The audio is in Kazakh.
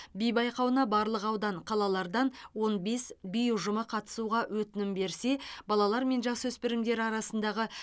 би байқауына барлық аудан қалалардан он бес би ұжымы қатысуға өтінім берсе балалар мен жасөспірімдер арасындағы